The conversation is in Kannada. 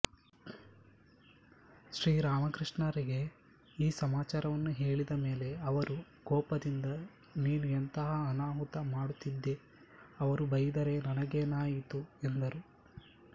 ಶ್ರೀರಾಮಕೃಷ್ಣರಿಗೆ ಈ ಸಮಾಚಾರವನ್ನು ಹೇಳಿದ ಮೇಲೆ ಅವರು ಕೋಪದಿಂದ ನೀನು ಎಂತಹ ಅನಾಹುತ ಮಾಡುತ್ತಿದ್ದೆ ಅವರು ಬೈದರೆ ನನಗೇನಾಯಿತು ಎಂದರು